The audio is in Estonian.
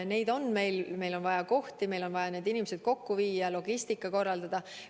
Meil on vaja vaktsineerimise kohti, meil on vaja need inimesed kokku viia, logistika korraldada.